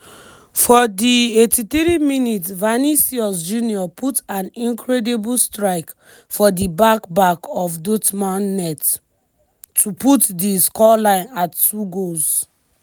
for di 83mins vinicius junior put an incredible strike for di back back of dortmund net-- to put di scoreline at 2 goals.